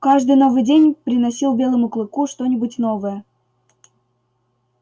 каждый новый день приносил белому клыку что нибудь новое